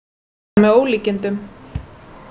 Þetta er með ólíkindum